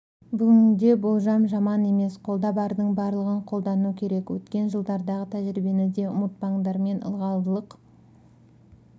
бүгінде болжам жаман емес қолда бардың барлығын қолдану керек өткен жылдардағы тәжірибені де ұмытпаңдар мен ылғалдылық